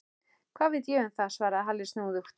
Hvað veit ég um það? svaraði Halli snúðugt.